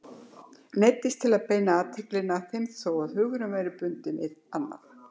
Neyddist til að beina athyglinni að þeim þó að hugurinn væri bundinn við annað.